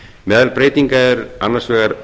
meðal breytinga eru annars vegar